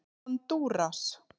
Hondúras